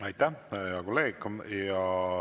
Aitäh, hea kolleeg!